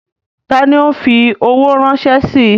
Ta ni ń óò fi owó ránṣẹ́ sí?